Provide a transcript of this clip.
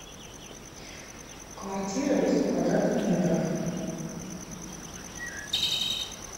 квартира восемь квадратных метров